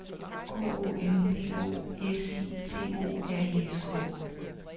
K O M P O S I T O R I S K